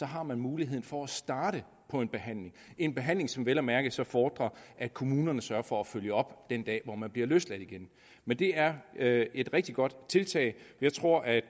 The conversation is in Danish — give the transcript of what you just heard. har man muligheden for at starte på en behandling en behandling som vel at mærke så fordrer at kommunerne sørger for at følge op den dag man bliver løsladt igen men det er er et rigtig godt tiltag jeg tror at